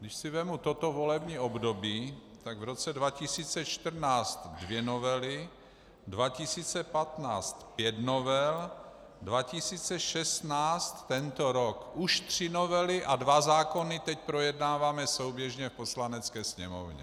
Když si vezmu toto volební období, tak v roce 2014 dvě novely, 2015 - pět novel, 2016 - tento rok už tři novely a dva zákony teď projednáváme souběžně v Poslanecké sněmovně.